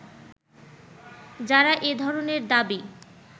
যারা এ ধরনের দাবী